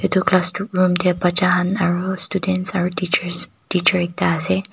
etu classroom de bacha kan aro students aro teachers teacher ekta ase.